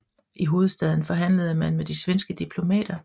I hovedstaden forhandlede man med de svenske diplomater